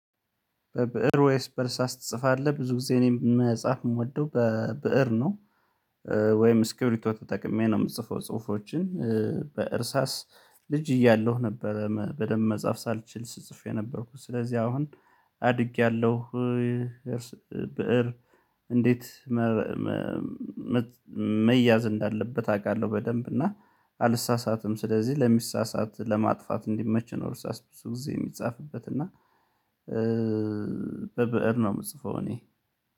በብእር ወይስ በርሳስ ትጽፋለህ? ብዙ ጊዜ እኔም መጽሐፍ የምወደው በብእር ነው ወይም እስክብሪቶ ተጠቅሜ ነው የምትጽፈው ጽሁፎችን። በእርሳስ ልጅ እያለሁ ነበረ በደንብ መጻፍ ሳልችል ስትጽፍ የነበርኩት ስለዚህ አሁን አድጌያለሁ። ብእር እንዴት መያዝ እንዳለበት አውቃለሁ። በደንብ እና አልሳሳትም ስለዚህ ለሚሳሳት ለማጥፋት እንዲመች ነው። ሳስብ እሱ ጊዜ የሚጻፍበት እና በብእር ነው የምትጽፈው እኔ።